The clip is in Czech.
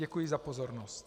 Děkuji za pozornost.